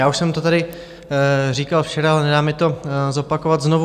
Já už jsem to tady říkal včera, ale nedá mi to zopakovat znovu.